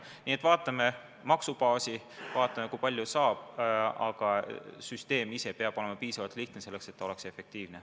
Nii et vaatame maksubaasi ja vaatame, kui palju raha juurde saab, aga süsteem ise peab olema piisavalt lihtne, selleks et ta oleks efektiivne.